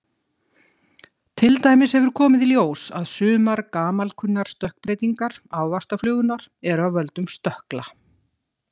Til dæmis hefur komið í ljós að sumar gamalkunnar stökkbreytingar ávaxtaflugunnar eru af völdum stökkla.